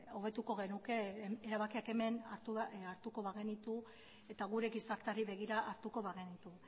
hobetuko genuke erabakiak hemen hartuko bagenitu eta gure gizarteari begira hartuko bagenitu